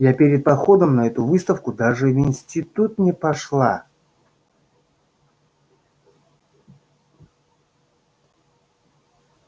я перед походом на эту выставку даже в институт не пошла